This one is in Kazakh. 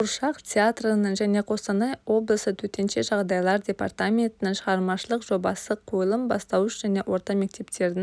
қуыршақ театрының және қостанай облысы төтенше жағдайлар департаментінің шығармашылық жобасы қойылым бастауыш және орта мектептердің